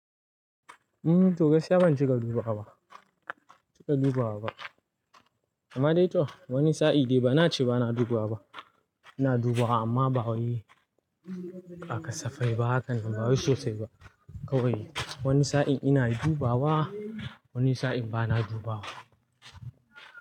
Umm, to gaskiya ban cika dubawa ba, cika dubawa ba. Amma dai to wani sa'i dai bana ce bana dubawa ba. Ina dubawa amma ba wani haka safai ba, haka nan ba sosai ba. Kawai wani sa'in ina dubawa, wani sa'in bana dubawa.